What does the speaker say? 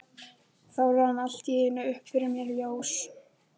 Þá rann allt í einu upp fyrir mér ljós.